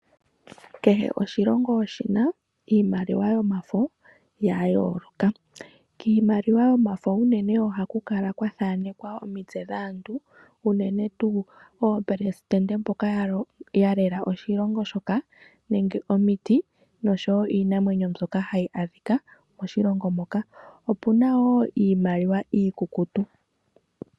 Kehe oshilongo oshina iimaliwa yomafo ya yooloka. Kiimaliwa yomafo unene ohaku kala kwathanekwa omitse dhaantu unene tuu oopelesitende mboka yalela oshilongo shoka nenge omiti nosho wo iinamwenyo mbyoka hayi adhika moshilongo moka, opuna wo iimaliwa iikukutu.